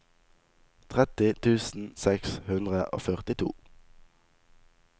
tretti tusen seks hundre og førtito